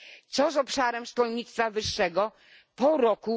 Co z obszarem szkolnictwa wyższego po roku